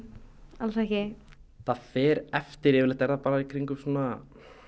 alls ekki það fer eftir yfirleitt er það bara í kringum svona